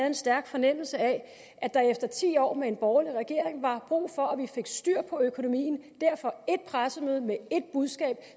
en stærk fornemmelse af at der efter ti år med en borgerlig regering var brug for at vi fik styr på økonomien derfor ét pressemøde med ét budskab